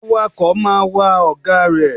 Awakọ̀ máa wa ọ̀gá rẹ̀.